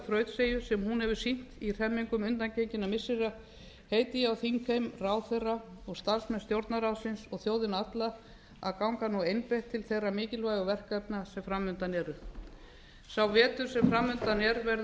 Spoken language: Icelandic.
þrautseigju sem hún hefur sýnt í hremmingum undangenginna missira einnig á þingheim ráðherra starfsmenn stjórnarráðsins og þjóðina alla að ganga einbeitt til þeirra mikilvægu verkefna sem fram undan eru sá vetur sem framundan er verður